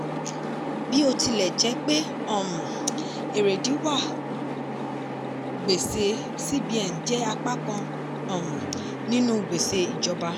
bí ó tilẹ̀ jẹ́ pé um erèdí wà gbèsè cbn jẹ́ apá kan um nínú gbèsè ìjọba.